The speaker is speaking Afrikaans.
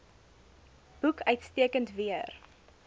boek uitstekend weer